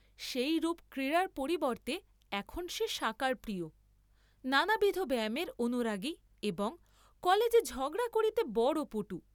সেইরূপ ক্রীড়ার পরিবর্ত্তে এখন সে শাঁকারপ্রিয়, নানাবিধ ব্যায়ামের অনুরাগী এবং কলেজে ঝগড়া করিতে বড় পটু।